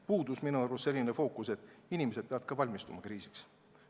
Minu arust puudus selline fookus, et ka inimesed ise peavad kriisiks valmistuma.